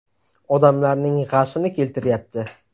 Odamlarning g‘ashini keltiryapti.